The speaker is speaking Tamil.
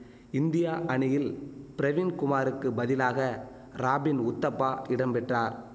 இந்தியா அணியில் பிரவின் குமாருக்கு பதிலாக ராபின் உத்தப்பா இடம் பெற்றார்